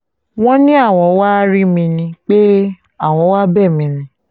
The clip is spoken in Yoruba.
wọ́n ní àwọn wàá rí mi ni pé àwọn wàá bẹ̀ mí ni